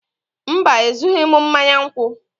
mba, Ezughị m mmanya nkwụ